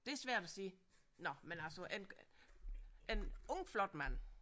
Det er svært at sige nåh man altså en en ung flot mand